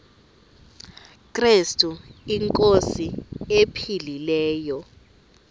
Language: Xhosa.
krestu inkosi ephilileyo